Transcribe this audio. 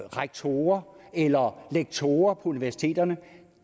rektorer eller lektorer på universiteterne